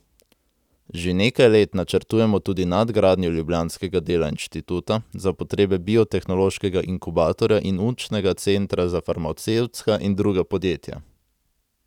Že nekaj let načrtujemo tudi nadgradnjo ljubljanskega dela inštituta, za potrebe biotehnološkega inkubatorja in učnega centra za farmacevtska in druga podjetja.